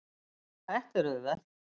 Þetta er auðvelt.